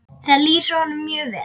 Það lýsir honum mjög vel.